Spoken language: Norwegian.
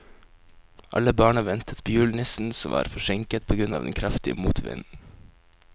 Alle barna ventet på julenissen, som var forsinket på grunn av den kraftige motvinden.